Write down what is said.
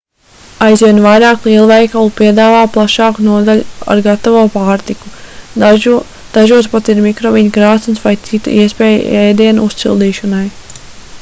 aizvien vairāk lielveikalu piedāvā plašāku nodaļu ar gatavo pārtiku dažos pat ir mikroviļņu krāsns vai cita iespēja ēdienu uzsildīšanai